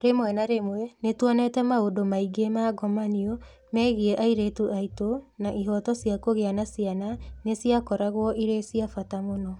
Rĩmwe na rĩmwe nĩ tuonete maũndũ maingĩ ma ngomanio megiĩ airĩtu aitũ na ihooto cia kũgĩa na ciana nĩ ciakoragwo irĩ cia bata mũno.